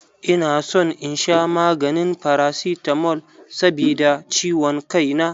Ina son in sha maganin paracetamol sabida ciwon kai na.